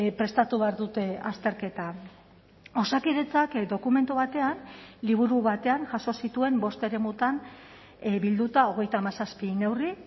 prestatu behar dute azterketa osakidetzak dokumentu batean liburu batean jaso zituen bost eremutan bilduta hogeita hamazazpi neurri